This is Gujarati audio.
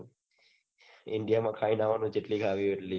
india માં ખાઈને આવાની જેટકી ખાવી હોય એટલી